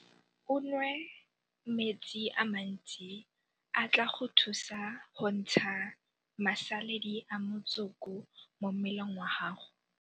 O nwe metsi a mantsi a tla go thusa go ntsha masaledi a motsoko mo mmeleng wa gago.